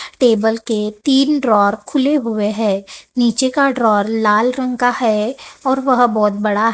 table के तीन drawer खुले हुए हैं नीचे का ड्रॉ लाल रंग का है और वह बहोत बड़ा--